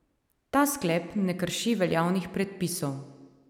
Ta sklep ne krši veljavnih predpisov.